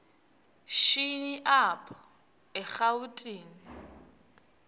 shini apho erawutini